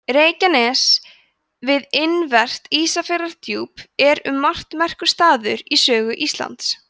reykjanes við innanvert ísafjarðardjúp er um margt merkur staður í sögu íslands